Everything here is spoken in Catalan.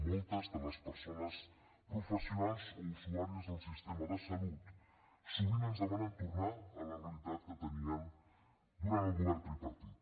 moltes de les persones professionals o usuàries del sistema de salut sovint ens demanen tornar a la realitat que tenien durant el govern tripartit